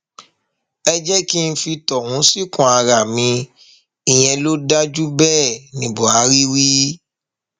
ẹ jẹ kí n fi tọhún síkùn ara mi ìyẹn ló dáa ju bẹẹ ní buhari wí